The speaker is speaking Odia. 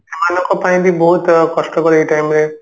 ଗାଁ ଲୋକ ପାଇଁ ବି ବହୁତ କଷ୍ଟକର ଏଇ time ରେ